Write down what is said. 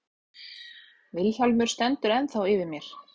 Vilhjálmur stendur ennþá yfir mér.